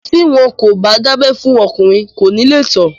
Tí wọn kò bá dábẹ́ fún ọkùnrin, kò ní lè tọ̀.